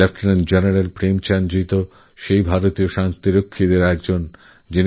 lieutenant general Premchand ji ভারতীয় শান্তিরক্ষী বাহিনীর একজন যিনি